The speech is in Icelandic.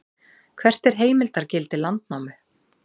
hvert er heimildargildi landnámu